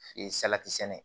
Fe salati sɛnɛ